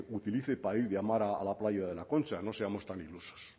utilice para ir a la playa de la concha no seamos tan ilusos